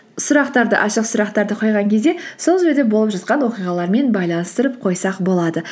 ашық сұрақтарды қойған кезде сол жерде болып жатқан оқиғалармен байланыстырып қойсақ болады